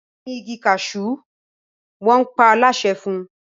Gbìn ìgi cashew! wọn pa á láṣẹ fún